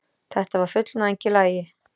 Þetta var fullnæging í lagi.